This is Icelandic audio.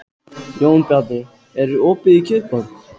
Jónbjarni, er opið í Kjötborg?